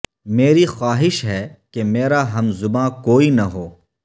میری خواہش ہے کہ میرا ہم زباں کوئی نہ ہو